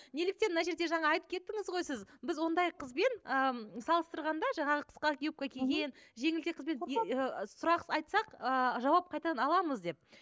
неліктен мына жерде жаңа айтып кеттіңіз ғой сіз біз ондай қызбен ы салыстырғанда жаңағы қысқа юбка киген жеңілтек қызбен сұрақ айтсақ ыыы жауап қайтадан аламыз деп